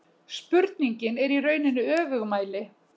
Spurningin er í rauninni öfugmæli